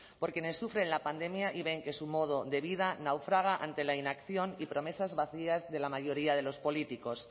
por quienes sufren la pandemia y ven que su modo de vida naufraga ante la inacción y promesas vacías de la mayoría de los políticos